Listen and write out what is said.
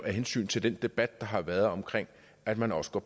af hensyn til den debat der har været om at man også går